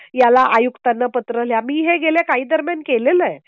याला आयुक्तांना पत्र मी हे गेल्या काही दरम्यान केलेलं आहे